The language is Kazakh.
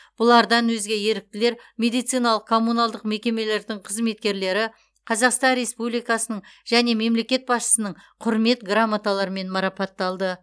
бұлардан өзге еріктілер медициналық коммуналдық мекемелердің қызметкерлері қазақстан республикасының және мемлекет басшысының құрмет грамоталарымен марапатталды